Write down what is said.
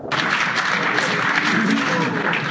Wir haben jetzt zwei Meinungen gehört.